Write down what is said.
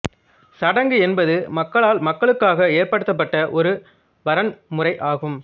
சடங்கு என்பது மக்களால் மக்களுக்காக ஏற்படுத்தப்பட்ட ஒரு வரன்முறை ஆகும்